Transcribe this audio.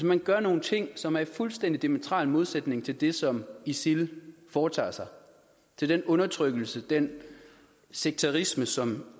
man gør nogle ting som er i fuldstændig diametral modsætning til det som isil foretager sig og til den undertrykkelse den sekterisme som